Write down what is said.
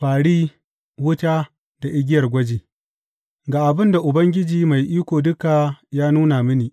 Fāri, wuta, da igiyar gwaji Ga abin da Ubangiji Mai Iko Duka ya nuna mini.